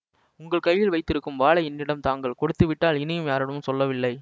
உங்கள் கையில் வைத்திருக்கும் வாளை என்னிடம் தாங்கள் கொடுத்துவிட்டால் இனியும் யாரிடமும் சொல்லவில்லை